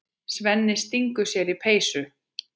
Svenni stingur sér í peysu.